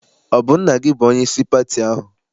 Ọ bụ nna gị bụ onyeisi pati ahụ?